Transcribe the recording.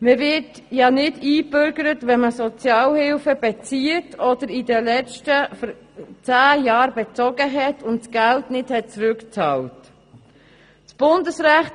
Man wird nicht eingebürgert, wenn man Sozialhilfe bezieht oder in den vergangenen zehn Jahren bezogen hat und das Geld nicht zurückbezahlt wurde.